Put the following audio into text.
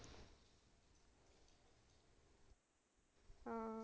ਹਾਂ